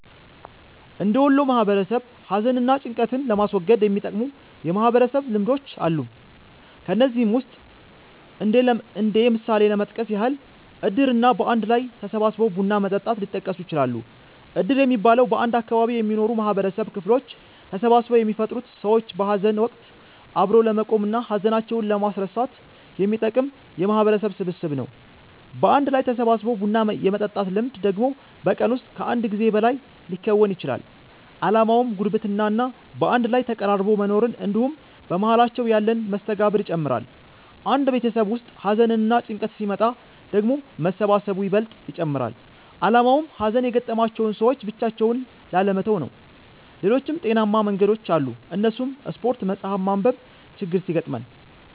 እንደ ወሎ ማህበረሰብ ሀዘን እና ጭንቀትን ለማስወገድ የሚጠቅሙ የማህበረሰብ ልምዶች አሉ። ከነዚህም ውስጥ እንደ ምሳሌ ለመጥቀስ ያህል እድር እና በአንድ ላይ ተሰባስቦ ቡና መጠጣት ሊጠቀሱ ይችላሉ። እድር የሚባለው፤ በአንድ አካባቢ የሚኖሩ የማህበረሰብ ክፍሎች ተሰባስበው የሚፈጥሩት ሰዎችን በሀዘን ወቀት አብሮ ለመቆም እና ሀዘናቸውን ለማስረሳት የሚጠቅም የማህበረሰብ ስብስብ ነው። በአንድ ላይ ተሰባስቦ ቡና የመጠጣት ልምድ ደግሞ በቀን ውስጥ ከአንድ ጊዜ በላይ ሊከወን ይችላል። አላማውም ጉርብትና እና በአንድ ላይ ተቀራርቦ መኖርን እንድሁም በመሃላቸው ያለን መስተጋብር ይጨምራል። አንድ ቤተሰብ ውስጥ ሀዘንና ጭንቀት ሲመጣ ደግሞ መሰባሰቡ ይበልጥ ይጨመራል አላማውም ሀዘን የገጠማቸውን ሰዎች ብቻቸውን ላለመተው ነው። ሌሎችም ጤናማ መንገዶች አሉ እነሱም ስፓርት፣ መፀሀፍ ማንብ፤ ችግር ሲገጥመን